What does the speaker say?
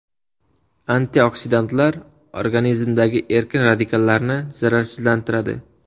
Antioksidantlar organizmdagi erkin radikallarni zararsizlantiradi.